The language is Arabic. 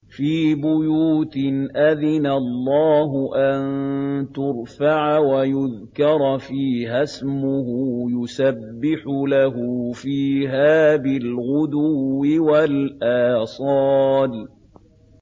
فِي بُيُوتٍ أَذِنَ اللَّهُ أَن تُرْفَعَ وَيُذْكَرَ فِيهَا اسْمُهُ يُسَبِّحُ لَهُ فِيهَا بِالْغُدُوِّ وَالْآصَالِ